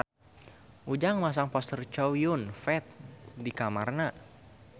Ujang masang poster Chow Yun Fat di kamarna